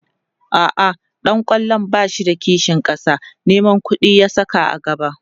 a'a ɗan kwallon bashi da kishin ƙasa Neman ƙuɗi ya Saka a gaba